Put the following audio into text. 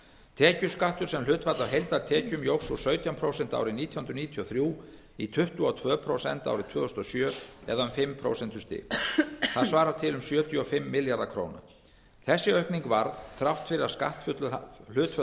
tekjuskattur sem hlutfall af heildartekjum jókst úr sautján prósent árið nítján hundruð níutíu og þrjú í tuttugu og tvö prósent árið tvö þúsund og sjö eða um fimm prósentustig það svara til um sjötíu og fimm milljarða króna þessi aukning varð þrátt fyrir að skatthlutföll